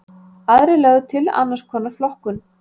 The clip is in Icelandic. Aðrir lögðu til annars konar flokkun.